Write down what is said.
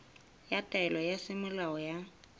ya taelo ya semolao ya